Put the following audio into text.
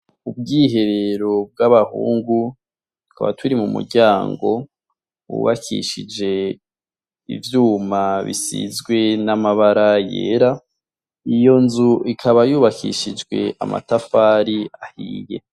Ubwiherero bw'abahungu tkaba turi mu muryango bubakishije ivyuma bisizwe n'amabara yera iyo nzu ikaba yubakishijwe amatafari ahiye.